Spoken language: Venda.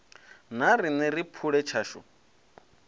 na riṋe ri phule tshashu